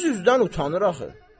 Üz-üzdən utanır axı.